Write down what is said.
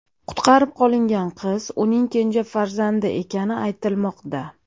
Qutqarib qolingan qiz uning kenja farzandi ekani aytilmoqda.